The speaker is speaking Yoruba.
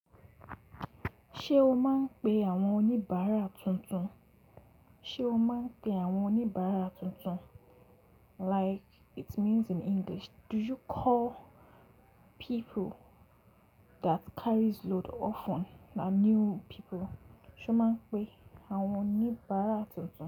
Ṣé o máa ń pe àwọn oníbàárà tuntun? Ṣé o máa ń pe àwọn oníbàárà tuntun? Like it means in English, do you call people that carries load often na new people? Sé o máa ń pe àwọn oníbàárà tuntun?